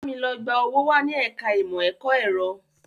Bámi lọ gba owó wá ní ẹ̀ka ìmọ̀ ẹ̀kọ́ ẹ̀rọ!